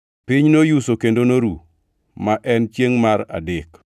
Piny noyuso kendo noru, ma en chiengʼ mar adek.”